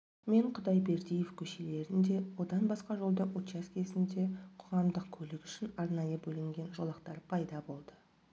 мен құдайбердиев көшелерінде одан басқа жолдың учаскесінде қозғамдық көлік үшін арнайы бөлінген жолақтар пайда болады